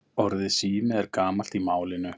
Orðið sími er gamalt í málinu.